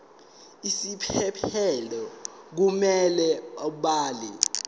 isiphephelo kumele abhale